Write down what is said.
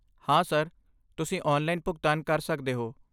ਹਾਂ, ਸਰ, ਤੁਸੀਂ ਆਨਲਾਈਨ ਭੁਗਤਾਨ ਕਰ ਸਕਦੇ ਹੋ।